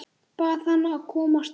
Bað hana að koma strax.